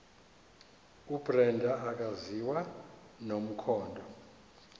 ubrenda akaziwa nomkhondo